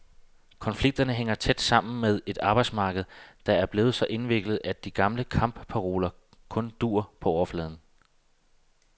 Konflikterne hænger tæt sammen med et arbejdsmarked, der er blevet så indviklet, at de gamle kampparoler kun duer på overfladen.